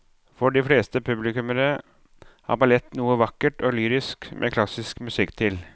For de fleste publikummere er ballett noe vakkert og lyrisk med klassisk musikk til.